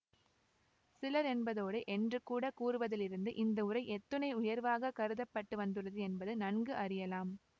சிலர் என்பதோடு என்று கூட கூறுவதிலிருந்து இந்த உரை எத்துணை உயர்வாகக் கருத பட்டு வந்துள்ளது என்பதை நன்கு அறியலாம்